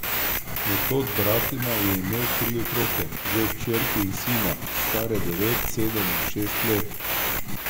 Metod Bratina je imel tri otroke, dve hčerki in sina, stare devet, sedem in šest let.